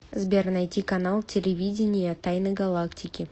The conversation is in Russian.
сбер найти канал телевидения тайны галактики